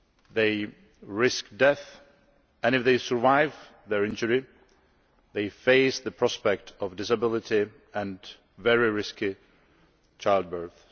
They risk death, and if they survive their injury they face the prospect of disability and very risky childbirth.